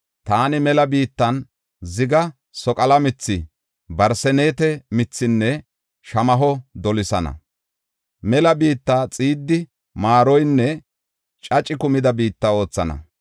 Taani mela biittan, ziga, soqala mithi, barseneete mithaanne shamaho dolisana. Mela biitta xiiddi, maaroynne caci kumida biitta oothana.